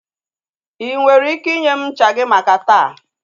I nwere ike inye m ncha gị maka taa?